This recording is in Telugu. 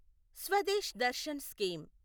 స్వదేశ్ దర్శన్ స్కీమ్